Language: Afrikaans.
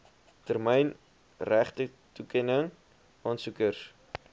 termyn regtetoekenning aansoekers